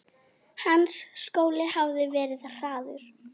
Hans skóli hafði verið harður.